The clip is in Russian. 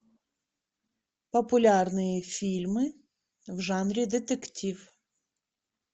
популярные фильмы в жанре детектив